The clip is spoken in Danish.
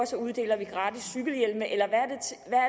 uddeler gratis cykelhjelme at